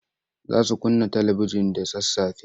Za su kunna talibijin da sassafe.